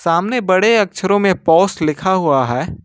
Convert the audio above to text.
समने बड़े अक्षरों में पोश लिखा हुआ है।